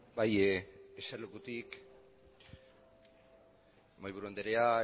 bai jersarlekutik mahaiburu anderea